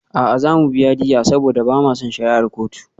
A'a, za mu biya diyya saboda ba ma son shari'ar kotu.